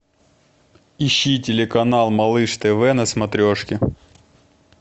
ищи телеканал малыш тв на смотрешке